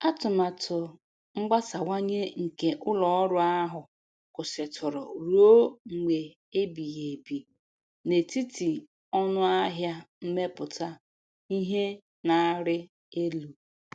Atụmatụ mgbasawanye nke ụlọ ọrụ ahụ kwụsịtụrụ ruo mgbe ebighi ebi n'etiti ọnụ ahịa mmepụta ihe na-arị elu.